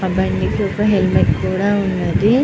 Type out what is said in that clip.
అబ్బాయి కూడా హెల్మెట్ కూడా ఉనది.